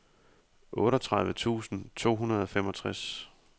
otteogtredive tusind to hundrede og femogtres